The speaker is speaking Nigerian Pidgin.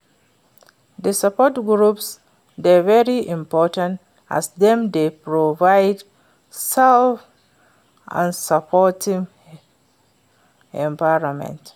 di support groups dey very important as dem dey provide safe and supportive environment.